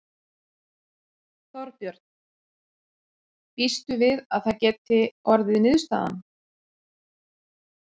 Þorbjörn: Býstu við að það geti orðið niðurstaðan?